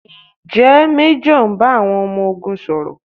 Ǹjẹ́ Méjọ̀ ń bá àwọn ọmọ ogun sọ̀rọ̀?